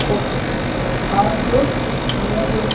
ఒక ఆటో నిలబె--